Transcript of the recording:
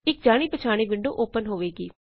ਇਕ ਜਾਣੀ ਪਛਾਨੀ ਵਿੰਡੋ ਓਪਨ ਹੋਵੇਗੀ